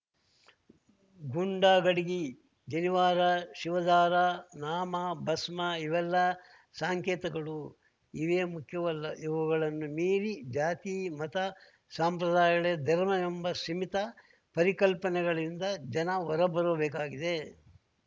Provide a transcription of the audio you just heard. ಗುಂಡಗಡಿಗಿ ಜನಿವಾರ ಶಿವದಾರ ನಾಮ ಭಸ್ಮ ಇವೆಲ್ಲ ಸಾಂಕೇತಗಳು ಇವೇ ಮುಖ್ಯವಲ್ಲ ಇವೆಲ್ಲವುಗಳನ್ನು ಮೀರಿ ಜಾತಿ ಮತ ಸಂಪ್ರದಾಯಗಳೇ ಧರ್ಮವೆಂಬ ಸೀಮಿತ ಪರಿಕಲ್ಪನೆಗಳಿಂದ ಜನ ಹೊರಬರಬೇಕಾಗಿದೆ